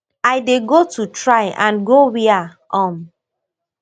i dey go to try and go wia um